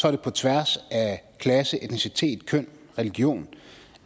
er det på tværs af klasse etnicitet køn og religion